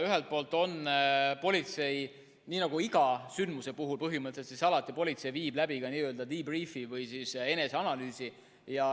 Ühelt poolt politsei iga sündmuse puhul viib põhimõtteliselt alati läbi ka debrief 'i või eneseanalüüsi.